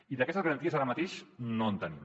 i d’aquestes garanties ara mateix no en tenim